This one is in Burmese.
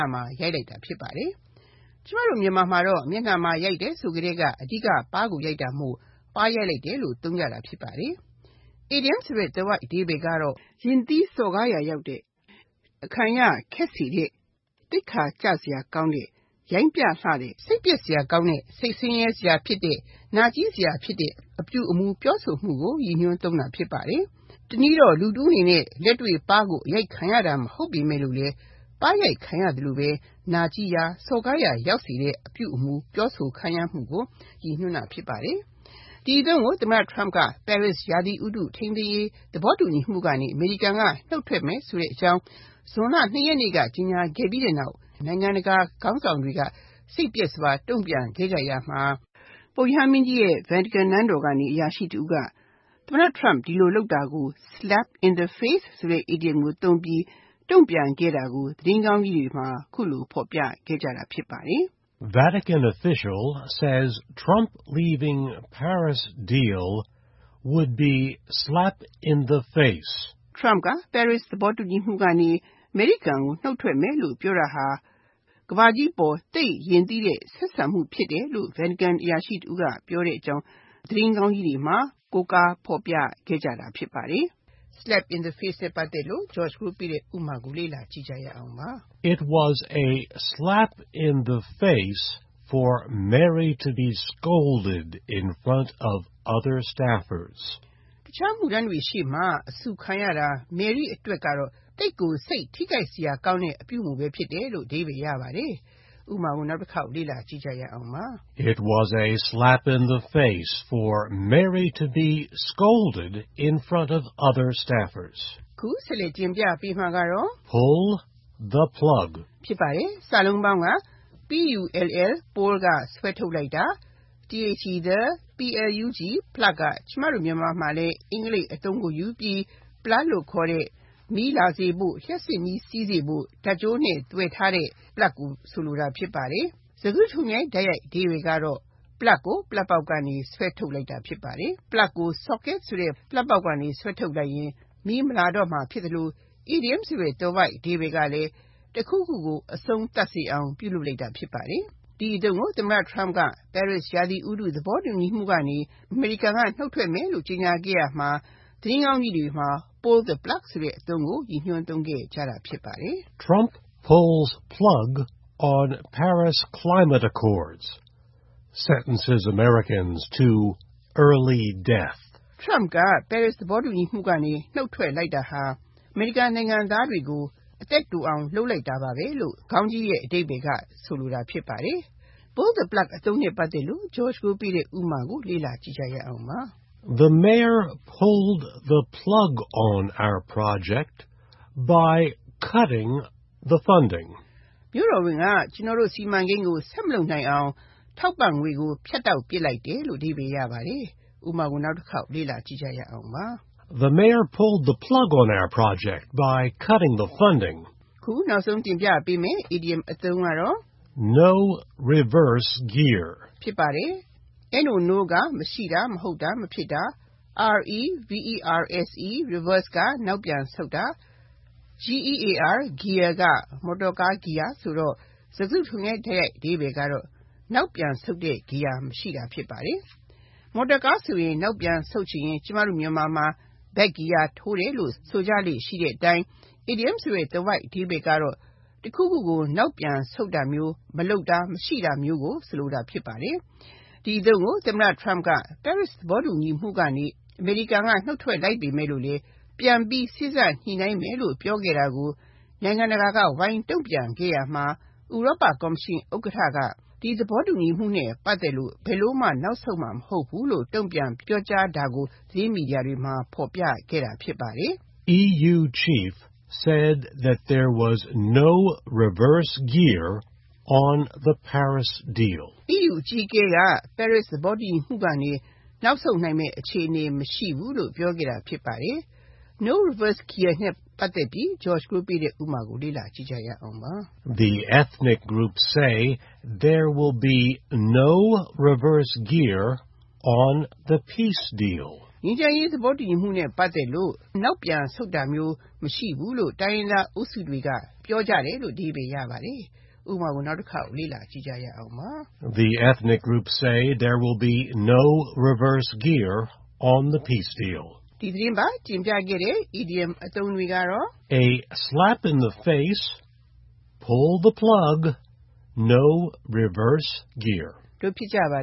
ာမှာ ရိုက်လိုက်တာ ဖြစ်ပါတယ်။ ကျမတို့ မြန်မာမှာတော့ မျက်နှာမှာ ရိုက်တယ်ဆိုကတည်းက အဓိက ပါးကိုရိုက်တာမို့ ပါးရိုက်လိုက်တာလို့ သုံးကြတာ ဖြစ်ပါတယ်။ အီဒီယံသွယ်ဝိုက်အဓိပ္ပါယ်ကတော့ ရင့်သီးစော်ကားရာရောက်တဲ့၊ အခံရခက်စေတဲ့၊ သိက္ခာကျစရာကောင်းတဲ့၊ ရိုင်းပြလှတဲ့၊ စိတ်ပျက်စရာကောင်းတဲ့၊ စိတ်ဆင်းရဲစရာဖြစ်တဲ့၊ နာကျည်းစရာဖြစ်တဲ့ အပြုအမှု ပြောဆိုမှုကို ရည်ညွှန်းသုံးတာ ဖြစ်ပါတယ်။ တနည်းအနေနဲ့ လူတဦးအနေနဲ့ လက်တွေ့ပါး အရိုက်ခံရတာ မဟုတ်ပေမယ့်လဲ ပါးရိုက်ခံရသလိုပဲ နာကျည်းရာ၊ စော်ကားရာ ရောက်စေတဲ့ အပြုအမှု၊ ပြောဆိုခံရမှုကို ရည်ညွှန်းတာ ဖြစ်ပါတယ်။ ဒီအသုံးကို သမ္မတ Trump က Paris ရာသီဥတု ထိန်းသိမ်းရေး သဘောတူညီမှုကနေ အမေရိကန်က နှုတ်ထွက်မယ်ဆိုတဲ့အကြောင်း ဇွန်လ (၂) ရက်နေ့က ကြေညာခဲ့ပြီးနောက် နိုင်ငံတကာ ခေါင်းဆောင်တွေက စိတ်ပျက်စရာ တုံ့ပြန်ခဲ့ကြရာမှာ ပုပ်ရဟန်းမင်းကြီးရဲ့ Vatican နန်းတော်ကနေ အရာရှိတဦးက သမ္မတ Trump ဒီလိုလုပ်တာကို Slap in the face ဆိုတဲ့ အီဒီယံကိုသုံးပြီး တုံ့ပြန်ခဲ့တာကို သတင်းခေါင်းကြီးတွေမှာ အခုလို ဖော်ပြခဲ့ကြတာ ဖြစ်ပါတယ်။ A Vatican official said Trump leaving Paris deal was a slap in the face. Trump က Paris သဘောတူညီမှုကနေ အမေရိကန်က နှုတ်ထွက်မယ်လို့ ပြောတာဟာ ကမ္ဘာကြီးအပေါ် သိပ်ရင့်သီးတဲ့ ဆက်ဆံမှု ဖြစ်တယ်လို့ Vatican အရာရှိတဦးက ပြောလိုက်ပါတယ်။ Slap in the face နဲ့ ပတ်သက်တဲ့ ဥပမာကို လေ့လာကြည့်ရအောင်ပါ။ It was a slap in the face for Mary to be scolded in front of other staffers. တခြားအမှုထမ်းတွေရှေ့မှာ အဆူခံရတာ Mary အတွက်သိပ်ကိုသိက္ခာကျစေတဲ့အပြုအမှု ဖြစ်တယ်။ (၂) Pull the plug Pull (ဆွဲထုတ်တာ)၊ the plug (ပလပ်) လို့ခေါ်တဲ့ မီးလာစေဖို့၊ လျှပ်စစ်မီး စီးစေဖို့ ဓါတ်ကြိုးနဲ့ သွယ်ထားတဲ့ အင်္ဂလိပ်ဝေါဟာရကို မြန်မာမှာလဲယူသုံးထားတဲ့ ပလပ်ကိုလိုတာ ဖြစ်ပါတယ်။ စကားစုတခုလုံးရဲ့ တိုက်ရိုက်အဓိပ္ပါယ်က ပလပ်ကို ပလပ်ပေါက်ကနေ ဆွဲဖြုတ်လိုက်တာ ဖြစ်ပါတယ်။ ပလပ်ကို Socket ဆိုတဲ့ ပလပ်ပေါက်ကနေ ဆွဲဖြုတ်လိုက်ရင် မီးမလာတော့မှာ ဖြစ်သလို၊ အီဒီယံဆိုတဲ့ သွယ်ဝိုက်အဓိပ္ပါယ်ကလည်း တခုခုကို အဆုံးသတ်စေအောင် ပြုလုပ်လိုက်တာ ဖြစ်ပါတယ်။ ဒီအသုံးကို သမ္မတ Trump က Paris ရာသီဥတု သဘောတူညီမှုကနေ အမေရိကန်က နှုတ်ထွက်မယ်လို့ ကြေညာခဲ့ရာမှာ သတင်းခေါင်းကြီးတွေမှာ Pull the plug အသုံးကို ရည်ညွှန်းသုံးခဲ့ကြတာ ဖြစ်ပါတယ်။ Trump pulled the plug on the Paris Climate deal. Trump က Paris သဘောတူညီမှုကနေ နှုတ်ထွက်လိုက်တယ်။ Pull the plug နဲ့ ပတ်သက်တဲ့ ဥပမာကို လေ့လာကြည့်ရအောင်ပါ။ The Mayor pulled the plug on our project by cutting the funding. မြို့တော်ဝန်က ကျနော်တို့ စီမံကိန်းကို ဆက်မလုပ်နိုင်အောင် ထောက်ပံ့ငွေကို ဖြတ်တောက်ပစ်လိုက်တယ်။ (၃) No reverse gear No (မရှိတာ၊ မဟုတ်တာ၊ မဖြစ်တာ)၊ reverse (နောက်ပြန်ဆုတ်တာ)၊ gear (မော်တော်ကား ဂီယာ) ဆိုတော့ စကားစုတခုလုံးရဲ့ လုံးကောက်အဓိပ္ပါယ်ကတော့ နောက်ပြန်ဆုတ်တဲ့ ဂီယာ မရှိတာ ဖြစ်ပါတယ်။ မော်တော်ကားဆိုရင် နောက်ပြန်ဆုတ်ချင်ရင် ကျမတို့ မြန်မာမှာ Back gear ထိုးတယ်လို့ ဆိုကြလေ့ရှိတဲ့အတိုင်း အီဒီယံဆိုတဲ့ သွယ်ဝိုက်အဓိပ္ပါယ်ကတော့ တခုခုကို နောက်ပြန်ဆုတ်တာမျိုး၊ မလုပ်တာ၊ မရှိတာမျိုးကို ဆိုလိုတာ ဖြစ်ပါတယ်။ ဒီအသုံးကို သမ္မတ Trump က Paris သဘောတူညီမှုကနေ အမေရိကန်က နှုတ်ထွက်လိုက်ပေမယ့်လဲ ပြန်ပြီးစေ့စပ်ညှိနှိုင်းမယ်လို့ ပြောခဲ့တာကို နိုင်ငံတကာက ဝိုင်းတုံ့ပြန်ခဲ့ရာမှာ ဥရောပကော်မရှင် ဥက္ကဋ္ဌက ဒီသဘောတူညီမှုနဲ့ ပတ်သက်လို့ ဘယ်လိုမှ နောက်ဆုတ်မှာ မဟုတ်ဘူးလို့ တုံ့ပြန်ပြောကြားတာကို သတင်းမီဒီယာတွေမှာ ဖော်ပြခဲ့တာ ဖြစ်ပါတယ်။ The EU Chief said there was no reverse gear on the Paris deal. EU အကြီးအကဲက Paris သဘောတူညီမှုကနေ နောက်ဆုတ်နိုင်မယ့် အခြေအနေ မရှိဘူးလို့ ပြောဆိုခဲ့ပါတယ်။ No reverse gear နဲ့ ပတ်သက်တဲ့ ဥပမာကို လေ့လာကြည့်ရအောင်ပါ။ Some armed ethnic groups said there would be no reverse gear on the Peace deal. ငြိမ်းချမ်းရေးသဘောတူညီမှုနဲ့ ပတ်သက်လို့ နောက်ပြန်ဆုတ်တာမျိုးရှိမှာမဟုတ်ဘူးလို့ တချို့လက်နက်ကိုင်တိုင်းရင်းသားအုပ်စုတွေက ပြောဆိုကြတယ်။ ဒီသတင်းပတ် တင်ပြခဲ့တဲ့ အီဒီယံအသုံးအနှုန်းတွေက Slap in the face, Pull the plug နဲ့ No reverse gear တို့ ဖြစ်ပါ